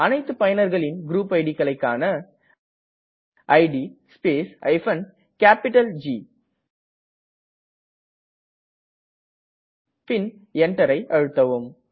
அனைத்து பயனர்களின் க்ருப் idக்களை காண இட் ஸ்பேஸ் ஜி பின் Enter கீயை அழுத்தவும்